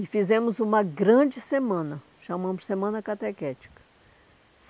E fizemos uma grande semana, chamamos Semana Catequética.